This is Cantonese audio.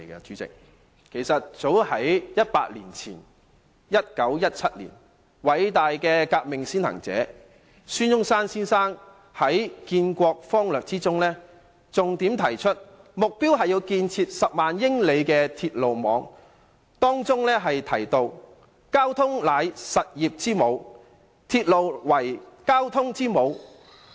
早在100年前的1917年，偉大的革命先行者孫中山先生在建國方略中重點提出，目標是要建設10萬英里的鐵路網。當中提到，"交通為實業之母，鐵路又為交通之母。